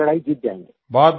ये लड़ाई जीत जायेगे